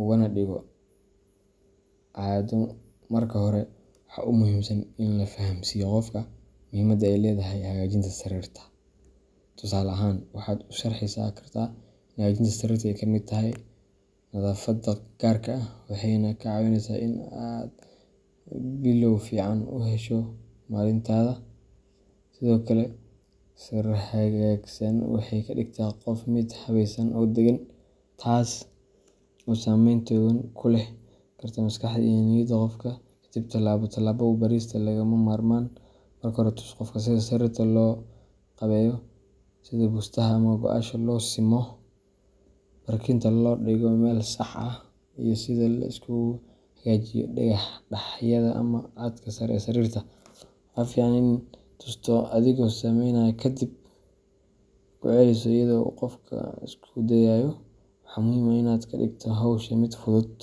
ugana dhigo caado. Marka hore, waxa ugu muhiimsan waa in la fahamsiiyo qofka muhiimadda ay leedahay hagaajinta sariirta. Tusaale ahaan, waxaad u sharraxi kartaa in hagaajinta sariirta ay ka mid tahay nadaafadda gaarka ah, waxayna kaa caawineysaa in aad bilow fiican u hesho maalintaada. Sidoo kale, sariir hagaagsan waxay ka dhigtaa qolka mid habaysan oo deggan, taas oo saameyn togan ku yeelan karta maskaxda iyo niyadda qofka. Kadib, tallaabo tallaabo u barista waa lagama maarmaan. Marka hore, tus qofka sida sariirta loo qaabeeyo sida bustaha ama go'yaasha loo simo, barkinta loo dhigo meel sax ah, iyo sida la isugu hagaajiyo daahyada ama cadka sare ee sariirta. Waa fiican inaad tusto adigoo samaynaya, kadibna ku celiso iyada oo uu qofku isku dayayo. Waxaa muhiim ah in aad ka dhigto hawsha mid fudud.